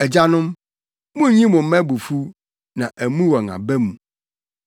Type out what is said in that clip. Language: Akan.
Agyanom, munnyi mo mma abufuw na ammu wɔn aba mu.